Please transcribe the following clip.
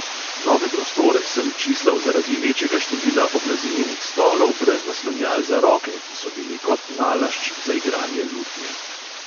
Nove prostore sem čislal zaradi večjega števila oblazinjenih stolov brez naslonjal za roke, ki so bili kot nalašč za igranje lutnje.